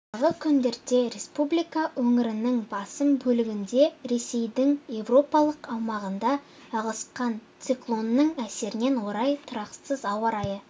алдағы күндерде республика өңірінің басым бөлігінде рессейдің еуропалық аумағынан ығысқан циклонның әсеріне орай тұрақсыз ауа райы